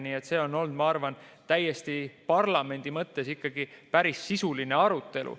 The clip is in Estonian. Nii et see on olnud, ma arvan, parlamendi mõttes ikkagi päris sisuline arutelu.